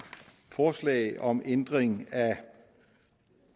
forslag om ændring af